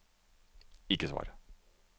ikke svar